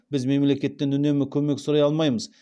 біз мемлекеттен үнемі көмек сұрай алмаймыз